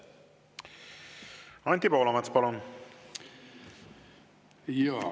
Anti Poolamets, palun!